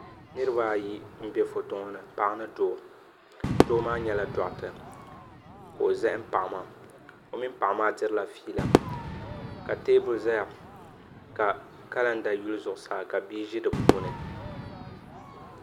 niriba ayi m-be foto ŋɔ ni paɣa ni doo doo maa nyɛla dɔɣita ka o zahim paɣa maa o mini paɣa maa dirila fiila ka teebuli zaya ka kalanda yili zuɣusaa ka bia ʒi di puuni.